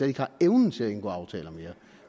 ikke har evnen til at indgå aftaler mere